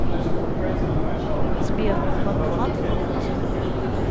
сбер банкоматы по пути